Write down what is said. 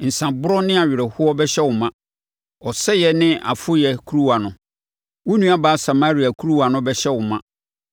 Nsãborɔ ne awerɛhoɔ bɛhyɛ wo ma, ɔsɛeɛ ne afoyɛ kuruwa no, wo nuabaa Samaria kuruwa no bɛhyɛ wo ma.